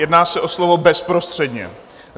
Jedná se o slovo bezprostředně.